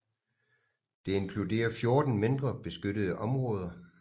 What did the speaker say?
Det inkluderer 14 mindre beskyttede områder